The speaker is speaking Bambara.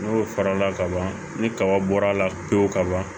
N'o farala kaban ni kaba bɔra a la pewu ka ban